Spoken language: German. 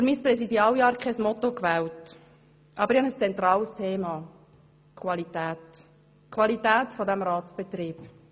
Ich habe für mein Präsidialjahr kein Motto gewählt, aber ich habe ein zentrales Thema: Die Qualität dieses Ratsbetriebs.